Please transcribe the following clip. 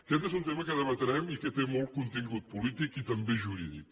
aquest és un tema que debatrem i que té molt contingut polític i també jurídic